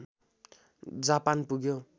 Japan पुग्यो